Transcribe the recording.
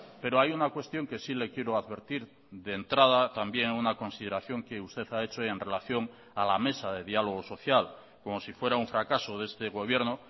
pero hay una cuestión que sí le quiero advertir de entrada también una consideración que usted ha hecho en relación a la mesa de diálogo social como si fuera un fracaso de este gobierno